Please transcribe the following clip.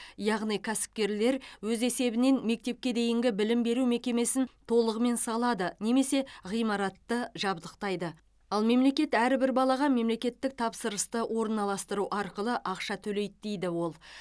яғни кәсіпкерлер өз есебінен мектепке дейінгі білім беру мекемесін толығымен салады немесе ғимаратты жабдықтайды ал мемлекет әрбір балаға мемлекеттік тапсырысты орналастыру арқылы ақша төлейді дейді ол